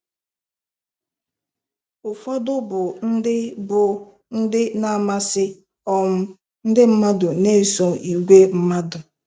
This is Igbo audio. Ụfọdụ bụ ndị bụ ndị na-amasị um ndị mmadụ na-eso igwe mmadụ.